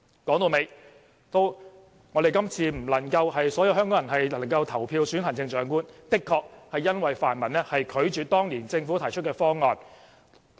說到底，所有香港人今次不能投票選行政長官，的確是因為泛民拒絕接受政府當年提出的方案。